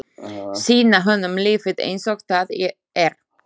Sýna honum lífið einsog það er.